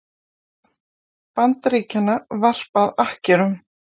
Bandaríkjanna varpað akkerum.